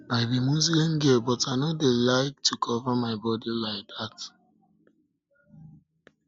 i be muslim girl but i no dey dey like to cover my body like dat